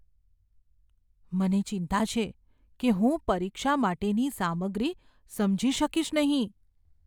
મને ચિંતા છે કે હું પરીક્ષા માટેની સામગ્રી સમજી શકીશ નહીં.